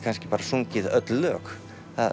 bara sungið öll lög